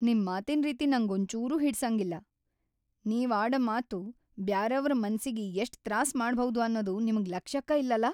ನಿಮ್‌ ಮಾತಿನ್‌ ರೀತಿ ನಂಗೊಂಚೂರೂ ಹಿಡ್ಸಂಗಿಲ್ಲ. ನೀವ್‌ ಆಡ ಮಾತು ಬ್ಯಾರೆಯವ್ರ್‌ ಮನಸ್ಸಿಗಿ‌ ಎಷ್ಟ್ ತ್ರಾಸ ಮಾಡಭೌದ್ ಅನ್ನದು ನಿಮ್ಗ್ ಲಕ್ಷ್ಯಕ್ಕಾ ಇಲ್ಲಲಾ.